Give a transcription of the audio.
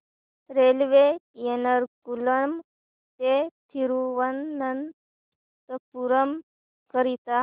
railway Ernakulam ते थिरुवनंतपुरम करीता